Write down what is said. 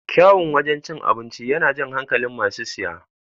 Kyaun wajan cin abinci yana jan hankalin masu siya